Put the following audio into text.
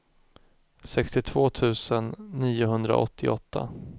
sextiotvå tusen niohundraåttioåtta